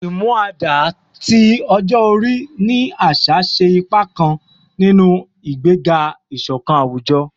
“Umuada” ti ọjọ-ori ni aṣa ṣe ipa kan ninu igbega iṣọkan awujọ